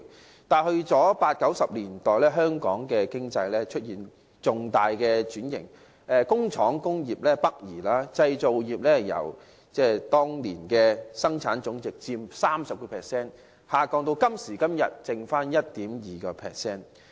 可是，到了1980、1990年代，香港經濟出現重大轉型，工廠及工業北移，製造業由當年佔本地生產總值約 30%， 下降至今時今日只剩下 1.2%。